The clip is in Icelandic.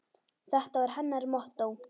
Þetta var hennar mottó.